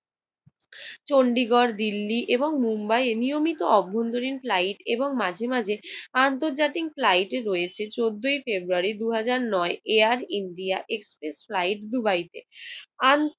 চন্ডিগড়, দিল্লি এবং মুম্বাইয়ে নিয়মিত নিয়মিত অভ্যন্তরীণ ফ্লাইট এবং মাঝে মাঝে আন্তর্জাতিক ফ্লাইট রয়েছে। চৌদ্দই ফেব্রুয়ারি দু হাজার নয় এয়ার ইন্ডিয়া এক্সপ্রেস রাইড দুবাইতে